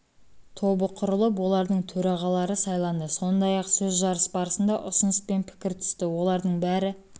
тобы құрылып олардың төрағалары сайланды сондай ақ сөзжарыс барысында ұсыныс пен пікір түсті олардың бәрі